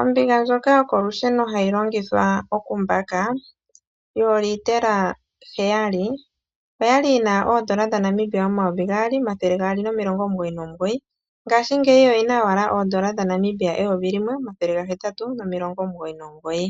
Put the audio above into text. Ombiga ndjoka yokolusheno hayi longitha oku mbaka yolitela heyali , oyali yina oondola dhaNamibia omayovi gaali omathele gaali nomilongo omugoyi nomugoyi ngashingeyi oyina owala oondola dhaNamibia eyovi limwe omathele gahetatu nomilongo omugoyi nomigoyi.